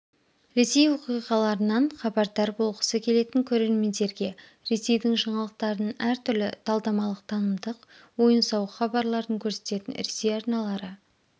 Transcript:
ресей оқиғаларынан хабардар болғысы келетін көрермендерге ресейдің жаңалықтарын әртүрлі талдамалық-танымдық ойын-сауық хабарларын көрсететін ресей арналары